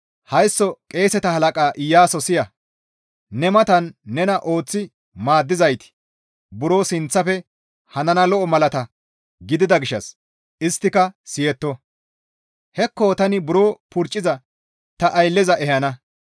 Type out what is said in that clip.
«Haysso qeeseta halaqa Iyaaso siya! Ne matan nena ooththi maaddizayti buro sinththafe hanana lo7o malata gidida gishshas isttika siyetto; hekko tani buro purcciza ta aylleza ehana.